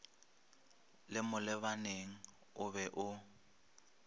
le molebaleng o be o